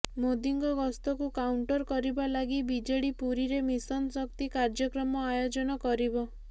ମୋଦିଙ୍କ ଗସ୍ତକୁ କାଉଣ୍ଟର୍ କରିବା ଲାଗି ବିଜେଡି ପୁରୀରେ ମିଶନ ଶକ୍ତି କାର୍ଯ୍ୟକ୍ରମ ଆୟୋଜନ କରିବ